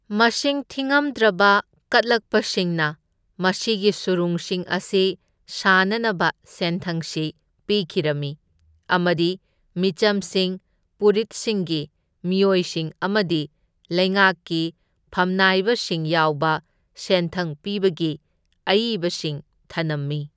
ꯃꯁꯤꯡ ꯊꯤꯉꯝꯗ꯭ꯔꯕ ꯀꯠꯂꯛꯄꯁꯤꯡꯅ ꯃꯁꯤꯒꯤ ꯁꯨꯔꯨꯡꯁꯤꯡ ꯑꯁꯤ ꯁꯥꯅꯅꯕ ꯁꯦꯟꯊꯪꯁꯤ ꯄꯤꯈꯤꯔꯝꯃꯤ ꯑꯃꯗꯤ ꯃꯤꯆꯝꯁꯤꯡ, ꯄꯨꯔꯤꯠꯁꯤꯡꯒꯤ ꯃꯤꯑꯣꯏꯁꯤꯡ ꯑꯃꯗꯤ ꯂꯩꯉꯥꯛꯀꯤ ꯐꯝꯅꯥꯏꯕꯁꯤꯡ ꯌꯥꯎꯕ ꯁꯦꯟꯊꯪ ꯄꯤꯕꯒꯤ ꯑꯏꯕꯁꯤꯡ ꯊꯅꯝꯃꯤ꯫